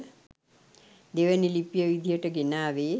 දෙවනි ලිපිය විදියට ගෙනාවේ